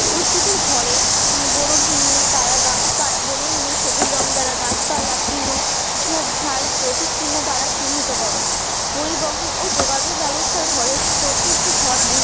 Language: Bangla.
উদ্ভিদের ঘরে বনভূমি দ্বারা বনভূমি সবুজ রং দ্বারা গাছপালা তৃণ ঝোপজার প্রতীক চিহ্ন দ্বারা চিহ্নিত করো, পরিবহন ও যোগাযোগ ব্যবস্থার ঘরে চতুর্থ ঘর